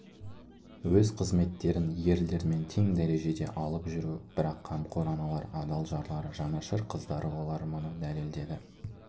өз қызметтерін ерлермен тең дәрежеде алып жүру бірақ қамқор аналар адал жарлары жанашыр қыздары олар мұны дәлелдеді